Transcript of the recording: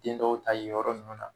Den dɔw ta yen yɔrɔ ninnu na